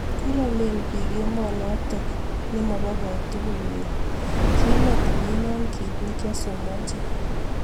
Koromen piik emonotok nemopoo kotugul wei. kimetemena kiit nekiasomanchini